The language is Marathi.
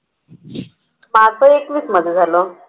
माझं एकवीस मध्ये झालं.